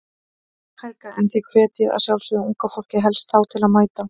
Helga: En þið hvetjið að sjálfsögðu unga fólkið helst þá til að mæta?